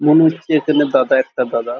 মনে হচ্ছে এখানে দাদা একটা দাদা--